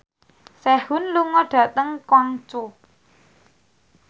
Sehun lunga dhateng Guangzhou